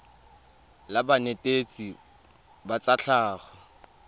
la banetetshi ba tsa tlhago